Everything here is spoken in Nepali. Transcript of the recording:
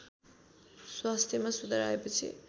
स्वास्थ्यमा सुधार आएपछि